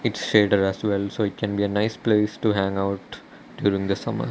it's shelter as well so it can be a nice place to hangout during the summer.